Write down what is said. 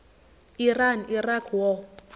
iran iraq war